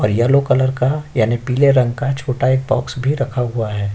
और yellow colour का यानि पीले रंग का छोटा एक बॉक्स भी रखा हुआ है।